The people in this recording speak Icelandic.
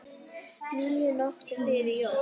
níu nóttum fyrir jól